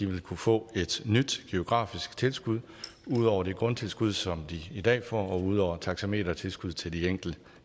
vil kunne få et nyt geografisk tilskud ud over det grundtilskud som de i dag får og ud over taxametertilskuddet til de enkelte